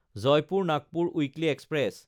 জয়পুৰ–নাগপুৰ weekly express